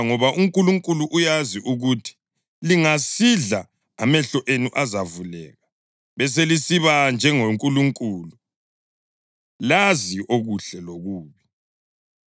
Ngoba uNkulunkulu uyazi ukuthi lingasidla amehlo enu azavuleka, beselisiba njengoNkulunkulu, lazi okuhle lokubi.”